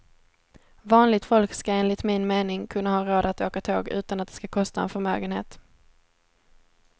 Vanligt folk ska enligt min mening kunna ha råd att åka tåg utan att det ska kosta en förmögenhet.